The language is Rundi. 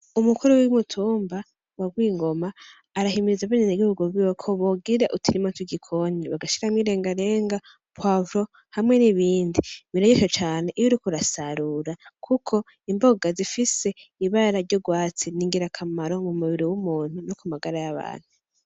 Umukuru w'umutumba wa Gwingoma arahimiriza abenegihugu biwe ko bogira uturima tw'igikoni bagashiramwo irengarenga, puwavuro, hamwe n'ibindi. Biraryoshe cane iyo uriko urasarura kuko imboga zifise ibara ry'ugwatsi ni ngirakamaro mu mubiri w'umuntu no ku magara y'abantu.